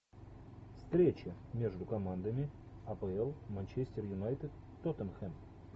встреча между командами апл манчестер юнайтед тоттенхэм